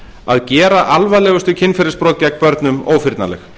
að gera alvarlegustu kynferðisbrot gegn börnum ófyrnanleg